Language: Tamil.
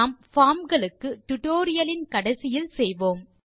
நாம் பார்ம் களுக்கு டியூட்டோரியல் இன் கடைசியில் செய்வோம்